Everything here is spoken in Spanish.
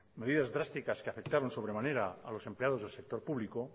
medidas drásticas que afectaron sobremanera a los empleados del sector público